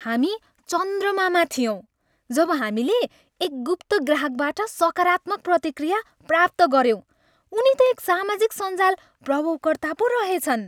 हामी चन्द्रमामा थियौँ जब हामीले एक गुप्त ग्राहकबाट सकारात्मक प्रतिक्रिया प्राप्त गऱ्यौँ । उनी त एक सामाजिक सञ्जाल प्रभावकर्ता पो रहेछन्।